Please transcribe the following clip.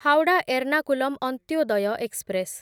Howrah Ernakulam Antyodaya express